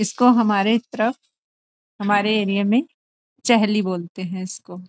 इसको हमारे तरफ हमारे एरिया में चहली बोलते हैं इसको।